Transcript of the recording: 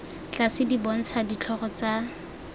tlase di bontsha ditlhogo tsa